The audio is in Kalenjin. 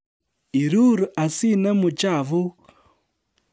Irur asinemu chafuk